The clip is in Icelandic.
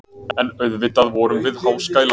En auðvitað vorum við háskælandi.